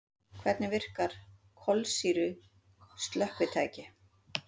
Hvernig virka kolsýru slökkvitæki?